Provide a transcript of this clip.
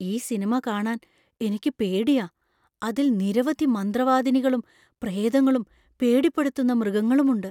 ഈ സിനിമ കാണാൻ എനിക്ക് പേടിയാ. അതിൽ നിരവധി മന്ത്രവാദിനികളും പ്രേതങ്ങളും പേടിപ്പെടുത്തുന്ന മൃഗങ്ങളുമുണ്ട്.